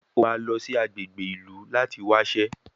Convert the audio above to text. O máa lọ sí agbègbè ìlú láti wáṣẹ́